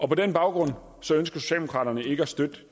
på den baggrund ønsker socialdemokraterne ikke at støtte